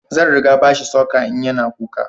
Zan ringa bashi sucker in ya na kuka